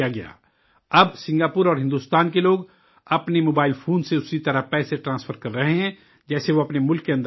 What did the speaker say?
اب، سنگاپور اور ہندوستان کے لوگ اپنے موبائل فون سے اسی طرح پیسے ٹرانسفر کر رہے ہیں جیسے وہ اپنے اپنے ملک کے اندر کرتے ہیں